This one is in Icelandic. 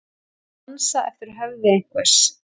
Að dansa eftir höfði einhvers